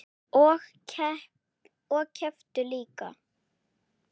Og kepptu líka.